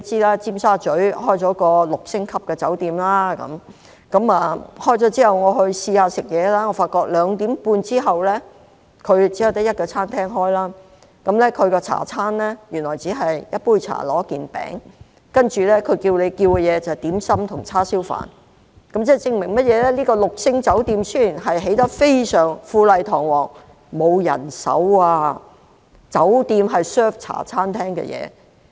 我發覺酒店在2時半後，只有一間餐廳營業，其下午茶餐原來只是一杯茶加一件糕點，其他可供選擇的只有點心和叉燒飯，這證明雖然這間六星酒店富麗堂皇，奈何沒有人手，酒店竟然提供茶餐廳的食物。